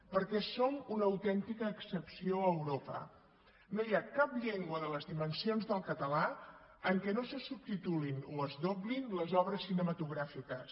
perquè som una autèntica excepció a europa no hi ha cap llengua de les dimensions del català en què no se subtitulin o es doblin les obres cinematogràfiques